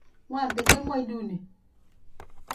Po kamonut walet.